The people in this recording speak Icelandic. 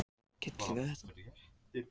getur hvönn valdið uppblæstri